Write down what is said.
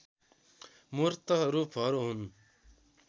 मूर्त रूपहरू हुन्